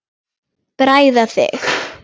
Bræða þig.